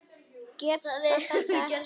Getur þetta ekki.